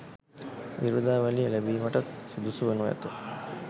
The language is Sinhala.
විරුදාවලිය ලැබීමටත් සුදුසු වනු ඇත.